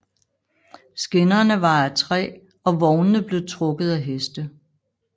Skinnerne var af træ og vognene blev trukket af heste